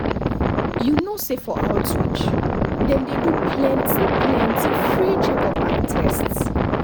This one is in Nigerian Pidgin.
u knw say for outreach dem dey do plenti plenti free check up and test